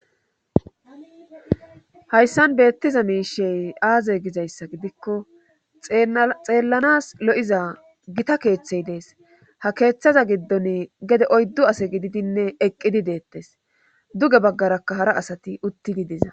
Hayssan beettiza miishey aazey gizayssa gidikko xeellanas lo'iza gita keeththey dees ha keeththaza giddon gede oyddu ase gididinne eqqidi deettes duge baggarakka hara asati utti gidiza